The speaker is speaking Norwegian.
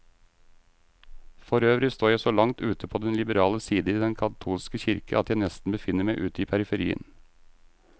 Forøvrig står jeg så langt ute på den liberale side i den katolske kirke, at jeg nesten befinner meg ute i periferien.